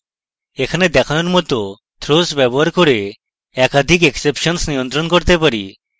এখানে দেখানোর মত throws ব্যবহার করে একাধিক exceptions নিয়ন্ত্রণ করতে পারি